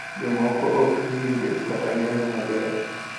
Jomoko ok winjo kata neno maber.